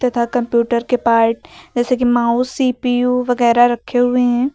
तथा कंप्यूटर के पार्ट जैसे की माउस सी_पी_यू वगैरा रखे हुए हैं।